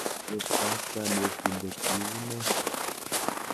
Cheptab kanetindet, iu nee?